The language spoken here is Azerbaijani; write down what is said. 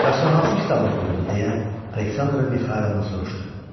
Bəs o hansı kitab oxuyurdu, deyə Aleksandra Mixaylovnadan soruşdu.